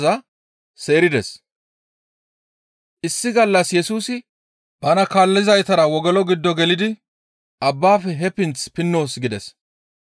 Issi gallas Yesusi bana kaallizaytara wogolo giddo gelidi, «Abbaafe he pinth pinnoos» gides.